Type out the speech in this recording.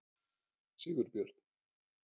Sigurbjörn